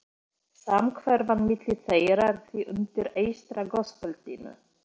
Samhverfan milli þeirra er því undir eystra gosbeltinu.